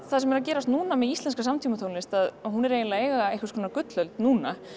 það sem er að gerast núna með íslenska samtímatónlist er að hún er eiginlega að eiga einhvers konar gullöld núna